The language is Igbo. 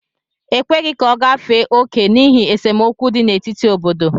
E kweghị ka ọ gafee oke n'ihi esemokwu dị n'etiti obodo